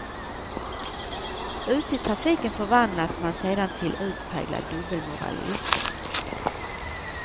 Ute i trafiken förvandlas man sedan till utpräglad dubbelmoralist.